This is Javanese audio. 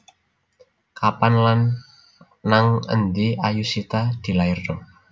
Kapan lan nang endi Ayushita dilairno?